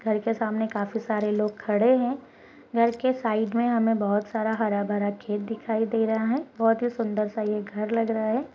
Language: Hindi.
घर के सामने काफी सारे लोग खड़े है घर के साइड में हमें बहुत सारा हरा-भरा खेत दिखाई दे रहा है बहुत ही सुन्दर सा ये घर लग रहा है।